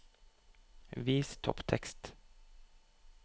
Vis topptekst